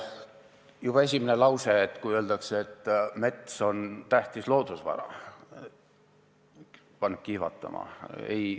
Juba esimene lause, kui öeldakse, et mets on tähtis loodusvara, paneb kihvatama.